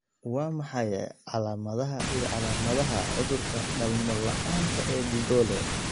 Waa maxay calaamadaha iyo calaamadaha cudurka dhalmo la'aanta Dhegoole?